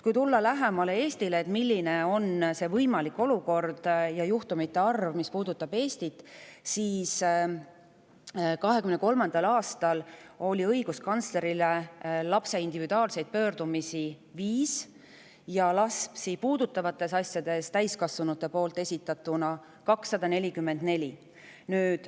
Kui tulla lähemale Eestile, milline on võimalik juhtumite arv ja olukord Eestis, siis 2023. aastal oli lapse individuaalseid pöördumisi õiguskantslerile esitatud 5 ja täiskasvanute esitatud lapsi puudutavates asjades 244.